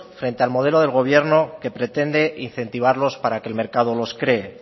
frente al modelo del gobierno que pretende incentivarlos para que el mercado los cree